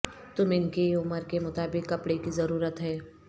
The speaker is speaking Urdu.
تم ان کی عمر کے مطابق کپڑے کی ضرورت ہے